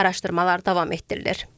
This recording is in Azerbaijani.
Araşdırmalar davam etdirilir.